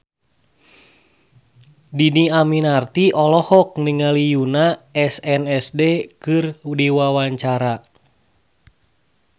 Dhini Aminarti olohok ningali Yoona SNSD keur diwawancara